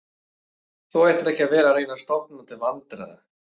Þú ættir ekki að vera að reyna að stofna til vandræða